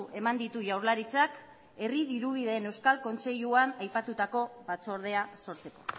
eman ditu jaurlaritzak herri dirubideen euskal kontseiluan aipatutako batzordea sortzeko